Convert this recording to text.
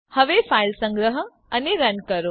હવે ફાઈલ સંગ્રહ અને રન કરો